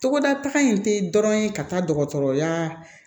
Togoda in tɛ dɔrɔn ye ka taa dɔgɔtɔrɔya